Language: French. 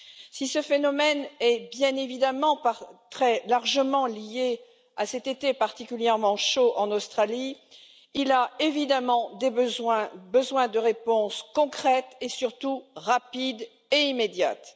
Si ce phénomène est bien évidemment très largement lié à cet été particulièrement chaud en Australie, il a évidemment besoin de réponses concrètes et surtout rapides et immédiates.